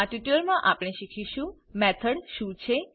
આ ટ્યુટોરીયલમા આપણે શીખીશું મેથોડ શું છે